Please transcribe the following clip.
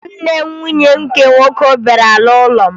Nwanne nwunye m nke nwoke bịara n'ụlọ m